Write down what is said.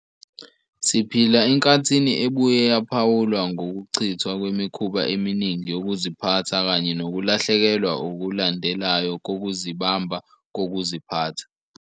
Siphila enkathini ebuye yaphawulwa ngokuchithwa kwemikhuba eminingi yokuziphatha kanye nokulahlekelwa okulandelayo kokuzibamba kokuziphatha.